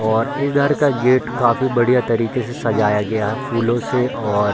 और इधर का गेट काफी बढ़िया तरीके से सजाया गया है फूलो से और --